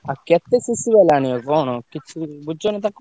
ଆଉ କେତେ CC ବାଲା ଆଣିବ କଣ କିଛି ବୁଝିଛନା ତାକୁ?